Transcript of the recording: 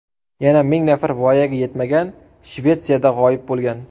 Yana ming nafar voyaga yetmagan Shvetsiyada g‘oyib bo‘lgan.